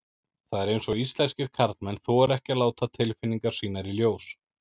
Það er eins og íslenskir karlmenn þori ekki að láta tilfinningar sínar í ljós.